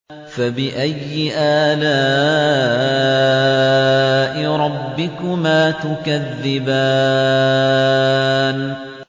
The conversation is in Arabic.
فَبِأَيِّ آلَاءِ رَبِّكُمَا تُكَذِّبَانِ